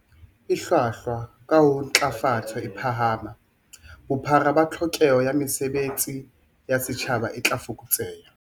E hlwahlwa, kaha ha ntlafatso e phahama, bophara ba tlhokeho ya mesebe tsi ya setjhaba e tla fokotseha.